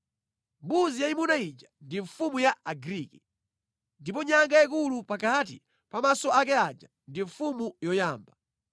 Mbuzi yayimuna ija ndi mfumu ya Agriki, ndipo nyanga yayikulu pakati pa maso ake aja ndi mfumu yoyamba.